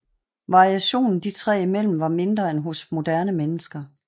Variationen de tre imellem var mindre end hos moderne mennesker